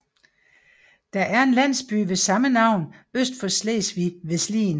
Der er en landsby ved samme navn øst for Slesvig ved Slien